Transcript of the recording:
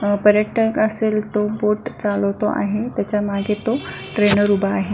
अ पर्यटक असेल तो बोट चालवतो आहे त्याच्या मागे तो ट्रेनर उभा आहे.